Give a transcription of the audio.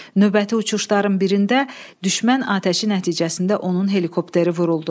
Növbəti uçuşların birində düşmən atəşi nəticəsində onun helikopteri vuruldu.